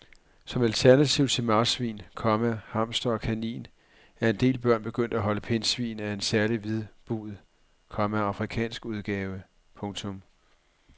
Som alternativ til marsvin, komma hamster og kanin er en del børn begyndt at holde pindsvin af en særlig hvidbuget, komma afrikansk udgave. punktum